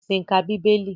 Chris ń ká Bíbélì.